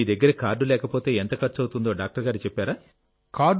మీ దగ్గర కార్డు లేకపోతేఎంత ఖర్చవుతుందో డాక్టర్ గారు చెప్పారా